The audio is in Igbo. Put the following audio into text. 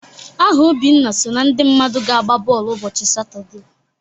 Aha Obinna so na ndị mmadụ ga-agba bọọlụ ụbọchị Satọde